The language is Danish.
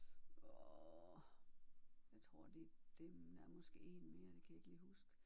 Og jeg tror det er dem der er måske én mere det kan jeg ikke lige huske